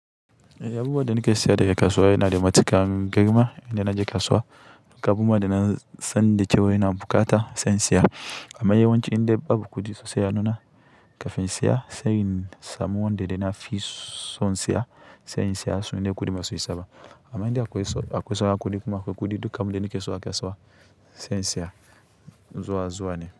E, abubuwa da nake siya da ya kasuwa yana da matuƙan girma indai na je kasuwa. Kamar kuma da na sanda ce waina bukata sensya. Amma yawanci inda babu kuɗi sosai a nuna kafin in siya, sai in samu wanda yana fison son siya, son siya suna da kuɗi basu isaba. Amma in da akwai, akwai sauran kuɗi kuma akwai kuɗi duka, abinda nake so akasuwa se in siya, zuwa zuwa ne.